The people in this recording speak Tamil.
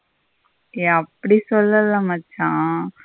ஏய் அப்படி சொல்லல மச்சா.